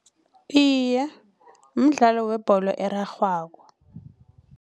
Iye, mdlalo webholo erarhwako.